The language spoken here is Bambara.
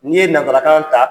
N'i ye nanzarakan ta